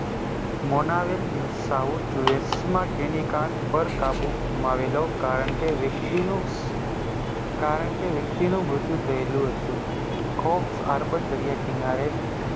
મોનાવેલ News South West માં તેની car પર કાબૂ ઘૂમવેલો કારણકે વ્યક્તિનું કારણકે વ્યક્તિનું મૃત્યુ થયેલું હતું. કો Urban દરિયા કિનારે